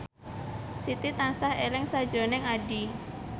Siti tansah eling sakjroning Addie